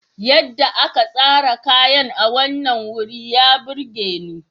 Yadda aka tsara kayan a wannan wuri ya burge ni.